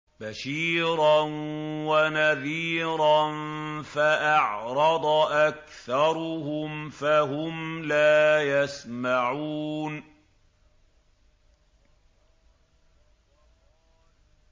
بَشِيرًا وَنَذِيرًا فَأَعْرَضَ أَكْثَرُهُمْ فَهُمْ لَا يَسْمَعُونَ